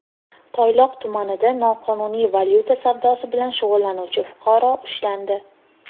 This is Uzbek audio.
Toyloq tumanida noqonuniy valyuta savdosi bilan shug‘ullanuvchi fuqaro ushlandi.